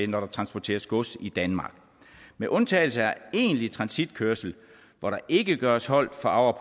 når der transporteres gods i danmark med undtagelse af egentlig transitkørsel hvor der ikke gøres holdt for